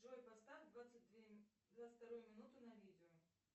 джой поставь двадцать вторую минуту на видео